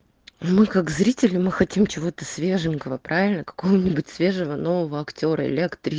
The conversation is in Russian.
мы как зрители мы хотим чего-то свеженького правильно какого-нибудь свежего нового актёра или актри